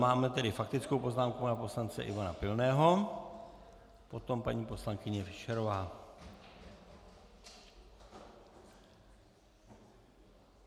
Máme tedy faktickou poznámku pana poslance Ivana Pilného, potom paní poslankyně Fischerová.